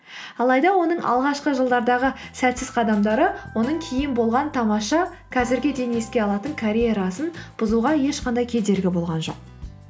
алайда оның алғашқы жылдардағы сәтсіз қадамдары оның кейін болған тамаша қазірге дейін еске алатын карьерасын бұзуға ешқандай кедергі болған жоқ